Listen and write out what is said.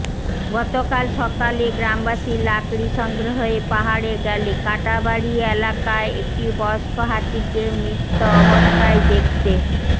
গতকাল সকালে গ্রামবাসী লাকড়ি সংগ্রহে পাহাড়ে গেলে কাটাবাড়ি এলাকায় একটি বয়স্ক হাতিকে মৃত্য অবস্থায় দেখতে